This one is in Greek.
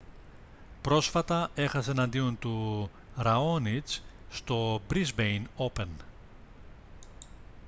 πρόσφατα έχασε εναντίον του ραόνιτς στο μπρίσμπεϊν όπεν